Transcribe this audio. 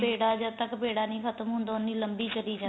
ਪੇੜਾ ਜਦ ਤੱਕ ਪੇੜਾ ਨੀਂ ਖਤਮ ਹੁੰਦਾ ਉਨੀ ਲੰਬੀ ਚਲੀ ਜਾਂਦੀ